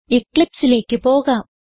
Eclipseലേക്ക് പോകാം